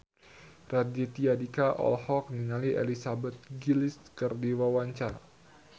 Raditya Dika olohok ningali Elizabeth Gillies keur diwawancara